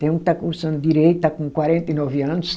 Tem um que está cursando direito, está com quarenta e nove anos.